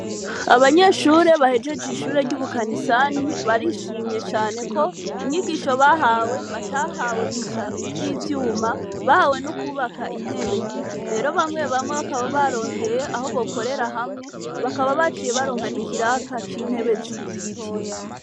Abanyeshure bahejeje ishure ryubu Kanisani, barishimiye cane ko inyigisho bahawe, batahawe gusa z'ivyuma bahawe no kwubaka intebe. Rero bamwe bamwe bakaba barondeye aho bokorera hamwe bakaba baronse n'ikiraka c'intebe z'igiti.